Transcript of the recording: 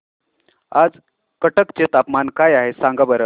आज कटक चे तापमान काय आहे सांगा बरं